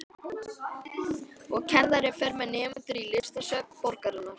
Og kennarinn fer með nemendur í listasöfn borgarinnar.